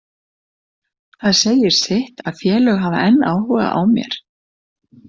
Það segir sitt að félög hafa enn áhuga á mér.